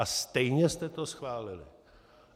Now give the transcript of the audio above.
A stejně jste to schválili.